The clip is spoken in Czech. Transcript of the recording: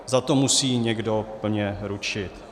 Za to musí někdo plně ručit.